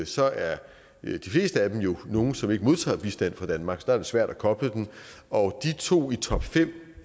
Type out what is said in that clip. så er de fleste af dem jo nogle som ikke modtager bistand fra danmark og så er det svært at koble den og i to